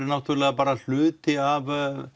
náttúrulega bara hluti af